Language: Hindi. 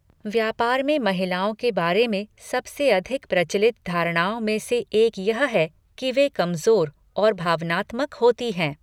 व्यापार में महिलाओं के बारे में सबसे अधिक प्रचलित धारणाओं में से एक यह है कि वे कमजोर और भावनात्मक होती हैं।